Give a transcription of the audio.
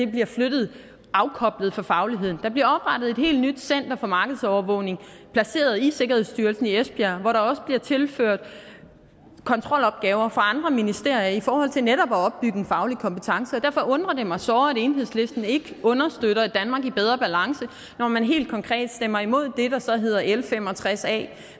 bliver flyttet afkoblet fra fagligheden der bliver oprettet et helt nyt center for markedsovervågning placeret i sikkerhedsstyrelsen i esbjerg hvor der også bliver tilført kontrolopgaver fra andre ministerier i forhold til netop at opbygge en faglig kompetence derfor undrer det mig såre om at enhedslisten ikke understøtter et danmark i bedre balance når man helt konkret stemmer imod det der så hedder l fem og tres a